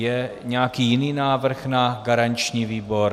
Je nějaký jiný návrh na garanční výbor?